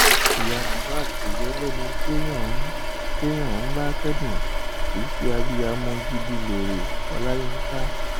ìyá mohbad kò yẹ lẹni téèyàn ń téèyàn ń bá kẹdùn kì í ṣe abiyamọ gidiléré ọláyinka